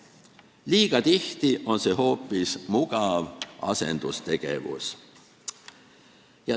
Liiga tihti on see hoopis mugav asendustegevus.